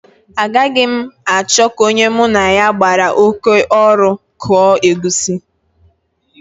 Agaghị m achọ ka onye mụ na ya gbara oké ọrụ kụọ egusi